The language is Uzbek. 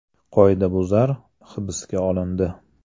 Qoidabuzar hibsga olindi.